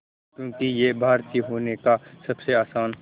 क्योंकि ये भारतीय होने का सबसे आसान